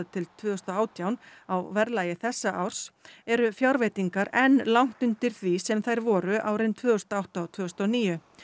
til tvö þúsund og átján á verðlagi þessa árs eru fjárveitingar enn langt undir því sem þær voru árin tvö þúsund og átta og tvö þúsund og níu